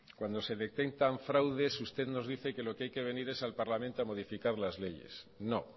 cuando se detectan fraudes usted nos dice que lo que hay que venir es al parlamento a modificar las leyes no